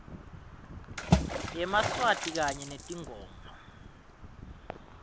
yemaswati kanye netingoma